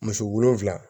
Muso wolonwula